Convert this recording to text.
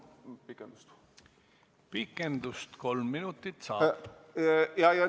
Pikendust kolm minutit saab.